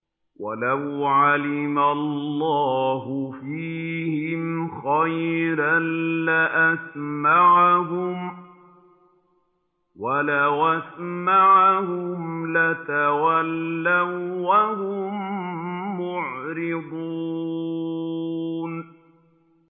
وَلَوْ عَلِمَ اللَّهُ فِيهِمْ خَيْرًا لَّأَسْمَعَهُمْ ۖ وَلَوْ أَسْمَعَهُمْ لَتَوَلَّوا وَّهُم مُّعْرِضُونَ